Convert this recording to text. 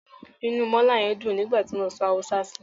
Inú mọ́là yẹn dùn nígbà tí mo sọ Haúsá sí i.